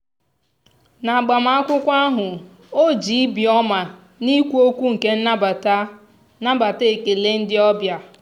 n'agbamakwụkwọ ahụ ọ ji ibi ọma na okwu ọnụ nke nnabata nnabata ekele ndị obịa.